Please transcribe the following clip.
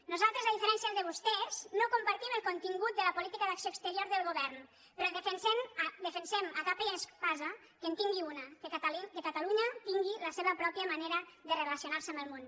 nosaltres a diferència de vostès no compartim el contingut de la política d’acció exterior del govern però defensem a capa i espasa que en tingui una que catalunya tingui la seva pròpia manera de relacionar se amb el món